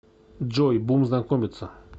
джой бум знакомиться